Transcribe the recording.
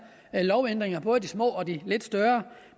lovændringer både de små og de lidt større